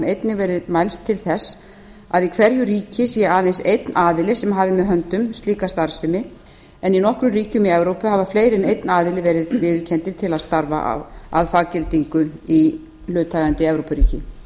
einnig verið mælst til þess að í hverju ríki sé aðeins einn aðili sem hafi með höndum slíka starfsemi en í nokkrum ríkjum í evrópu hafa fleiri en einn aðili verið viðurkenndir til að starfa að faggildingu í hlutaðeigandi evrópuríki frá árinu nítján